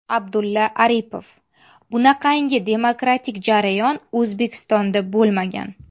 Abdulla Aripov: Bunaqangi demokratik jarayon O‘zbekistonda bo‘lmagan.